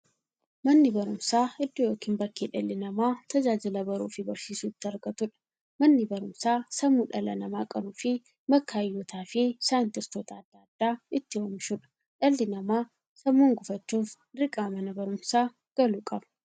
Manni baruumsaa iddoo yookiin bakkee dhalli namaa tajaajila baruufi barsiisuu itti argatuudha. Manni barumsaa sammuu dhala namaa qaruufi bakka hayyootafi saayintistoota adda addaa itti oomishuudha. Dhalli namaa sammuun gufachuuf, dirqama Mana baruumsaa galuu qaba.